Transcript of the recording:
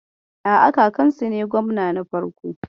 A'a, kakansu ne gwamna na farko.